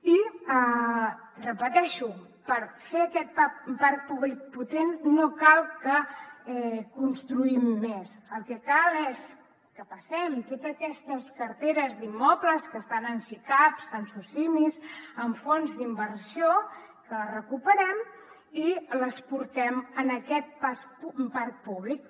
i ho repeteixo per fer aquest parc públic potent no cal que construïm més el que cal és que passem totes aquestes carteres d’immobles que estan en sicavs en socimis en fons d’inversió que les recuperem i les portem en aquest parc públic